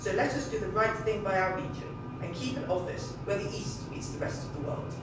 So let us do the right thing by our region and keep an office where the East meets the rest of the world.